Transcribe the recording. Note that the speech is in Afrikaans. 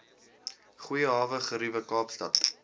goeie hawegeriewe kaapstad